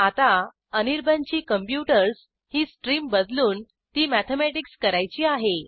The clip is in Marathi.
आता अनिर्बाण ची कॉम्प्युटर्स ही स्ट्रीम बदलून ती मॅथेमॅटिक्स करायची आहे